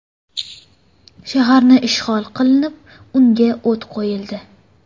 Shaharni ishg‘ol qilinib, unga o‘t qo‘yildi.